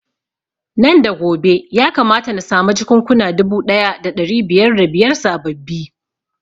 Nan da gobe ya kamata na samu jakunkuna dubu ɗaya da ɗari biyar da biyar sababbi